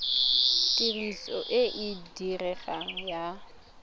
tiriso e e diregang ya